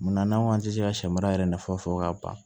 Munna n'an ko an tɛ se ka sɛ mara yɛrɛ nafa fɔ ka ban